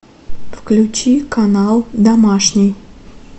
включи канал домашний